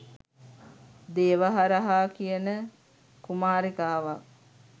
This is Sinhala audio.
දේවහරහා කියන කුමාරිකාවක්.